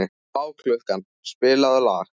Bláklukka, spilaðu lag.